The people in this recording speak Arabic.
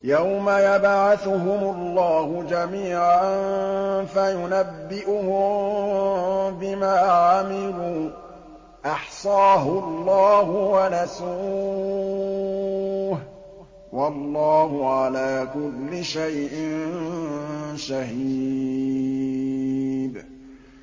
يَوْمَ يَبْعَثُهُمُ اللَّهُ جَمِيعًا فَيُنَبِّئُهُم بِمَا عَمِلُوا ۚ أَحْصَاهُ اللَّهُ وَنَسُوهُ ۚ وَاللَّهُ عَلَىٰ كُلِّ شَيْءٍ شَهِيدٌ